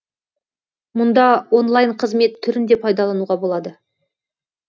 мұнда онлайн қызмет түрін де пайдалануға болады